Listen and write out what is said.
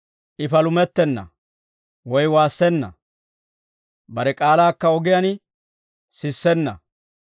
I palumettenna; woy waassenna. Bare k'aalaakka ogiyaan sissenna.